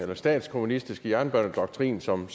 der statskommunistiske jernbanedoktrin som